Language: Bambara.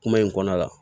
Kuma in kɔnɔna la